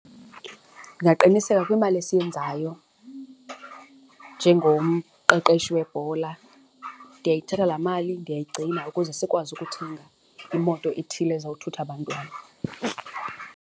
Ndingaqiniseka kwimali esiyenzayo njengomqeqeshi webhola ndiyayithatha laa mali, ndiyigcina ukuze sikwazi ukuthenga imoto ethile ezizawuthutha abantwana.